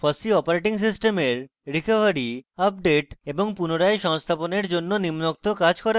fossee operating সিস্টেমের recovery/আপডেট/পুনরায় সংস্থাপনের জন্য নিম্নোক্ত কাজ করা উচিত